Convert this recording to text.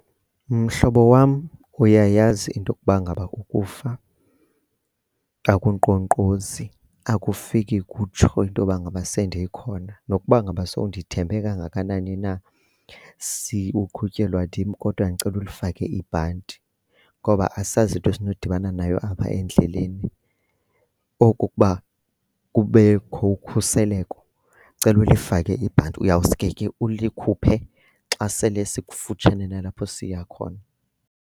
Mhlobo wam, uyayazi into yokuba ngaba ukufa akunkqonkqozi, akufiki kutsho into yoba ngaba sendikhona. Nokuba ngaba sowundithembe kangakanani na uqhutyelwa ndim kodwa ndicela ulifake ibhanti ngoba asazi into esinodibana nayo apha endleleni. Oko kokuba kubekho ukhuseleko. Cela ulifake ibhanti uyawusuke ke ulikhuphe xa sele sikufutshane nalapho siya khona.